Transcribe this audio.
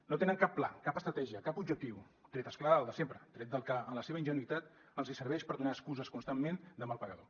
no tenen cap pla cap estratègia cap objectiu tret és clar del de sempre tret del que en la seva ingenuïtat els serveix per donar excuses constantment de mal pagador